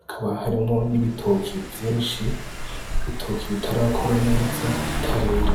hakaba harimwo n' ibitoke vyinshi ibitoki bitarakura neza bitarera.